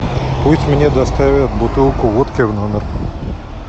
пусть мне доставят бутылку водки в номер